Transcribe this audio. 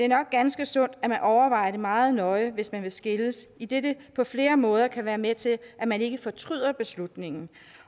nok ganske sundt at man overvejer det meget nøje hvis man vil skilles idet det på flere måder kan være med til at man ikke fortryder beslutningen